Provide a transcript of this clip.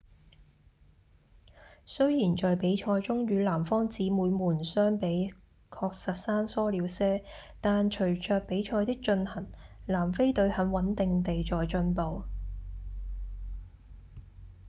雖然在比賽中與南方姊妹們相比確實生疏了些但隨著比賽的進行南非隊很穩定地在進步